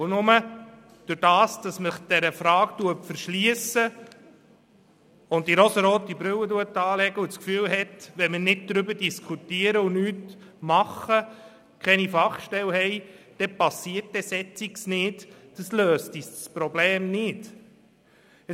Und nur dadurch, dass man sich dieser Frage verschliesst, die rosarote Brille aufsetzt und das Gefühl hat, wenn man nicht darüber diskutiere, nichts unternehme und keine Fachstelle habe, passiere solches nicht, wird das Problem nicht gelöst.